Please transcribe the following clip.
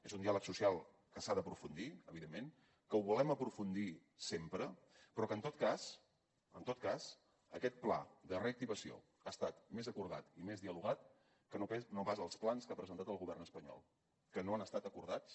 és un diàleg social que s’ha d’aprofundir evidentment que ho volem aprofundir sempre però que en tot cas en tot cas aquest pla de reactivació ha estat més acordat i més dialogat que no pas els plans que ha presentat el govern espanyol que no han estat acordats